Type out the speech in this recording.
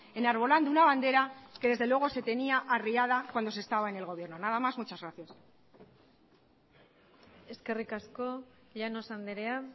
enarbolando una bandera que desde luego se tenía arriada cuando se estaba en el gobierno nada más muchas gracias eskerrik asko llanos andrea